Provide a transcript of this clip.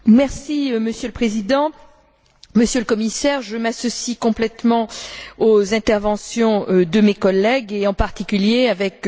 Monsieur le Président, Monsieur le Commissaire, je m'associe complètement aux interventions de mes collègues et, en particulier, avec M.